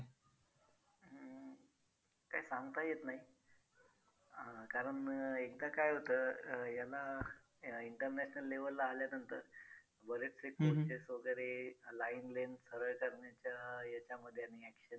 काय सांगता येत नाही अं कारण एकदा काय होतं अं याला international level ला आल्यानंतर बरेचसे coaches वगैरे line length सरळ करण्याच्या याच्यामध्ये आणि action